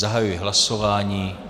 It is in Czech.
Zahajuji hlasování.